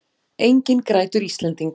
Enginn grætur Íslending!